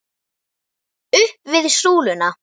Upp við súluna!